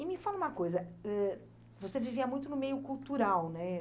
E me fala uma coisa, ãh, você vivia muito no meio cultural, né?